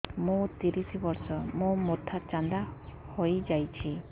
ମୋ ତିରିଶ ବର୍ଷ ମୋ ମୋଥା ଚାନ୍ଦା ହଇଯାଇଛି